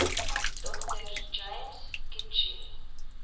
dr james kitching